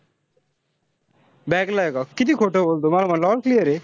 Back ला ए का? किती खोटं बोलतो. मला बोलला all clear ए.